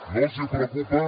no els preocupa